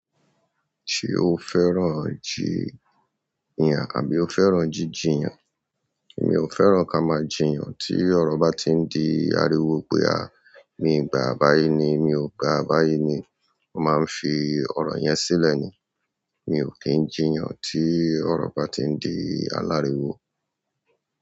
Ṣé o fẹ́ràn jì yàn, àbí o fẹ́ràn jíjíyàn? Mi ò fẹ́ràn ká máa jìyàn tí ọ̀rọ̀ bá ti ń di ariwo pé à, mi gbà á báyìí ni, mi ò gbà á báyìí ni. Mo máa ń fi ọ̀rọ yẹn sílẹ̀ ni. Mi ò kí ń jìyàn tí ọ̀rọ bá ti ń di aláriwo.